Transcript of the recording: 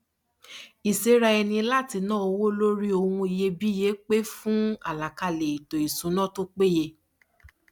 ìséra ẹni láti na owó lori ohun iyebíye pè fún àlàkalẹ ètò ìṣúná tó péye